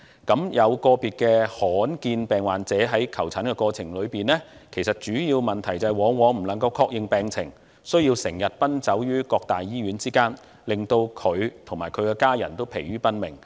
個別罕見疾病患者在求診過程中，主要問題往往是未能確認病情，需要時常奔走於各大醫院之間，令病人及其家人疲於奔命。